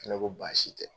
Fɛnɛ ko baasi tɛ